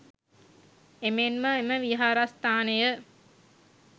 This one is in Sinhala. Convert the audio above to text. එමෙන්ම එම විහාරස්ථානය